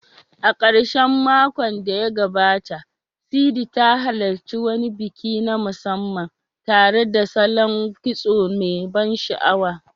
A karshen makon da ya gabata, Sidi ta halarci wani biki na musamman tare da salon kitso mai ban sha'awa.